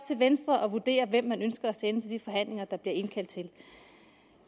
venstre at vurdere hvem man ønsker at sende til de forhandlinger der bliver indkaldt til